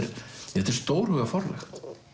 þetta er stórhuga forlag